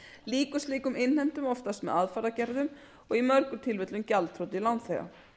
lýkur slíkum innheimtum oftast með aðfaragerðum og í mörgum tilfellum gjaldþroti lánþega